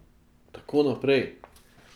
Takoj naprej.